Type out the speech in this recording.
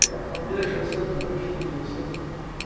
E a família crescendo também, os filhos crescendo.